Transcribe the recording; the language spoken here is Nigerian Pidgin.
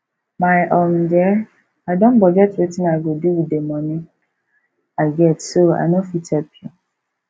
my um dear i don budget wetin i go do with the money i get so i no fit help you